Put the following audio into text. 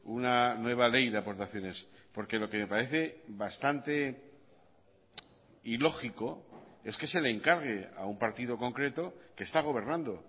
una nueva ley de aportaciones porque lo que me parece bastante ilógico es que se le encargue a un partido concreto que está gobernando